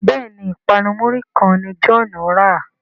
Béèni ipanu muri kán ní John rà.